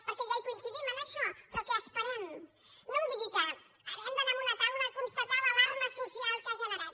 perquè ja hi coincidim en això però què esperem no em digui que hem d’anar a una taula a constatar l’alarma social que ha generat